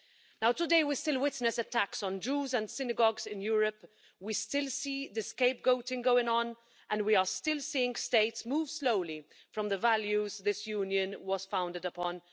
Now, today, we still witness attacks on Jews and synagogues in Europe, we still see the scapegoating going on, and we are still seeing states move slowly away from the values this Union was founded upon.